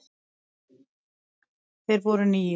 Þeir voru níu.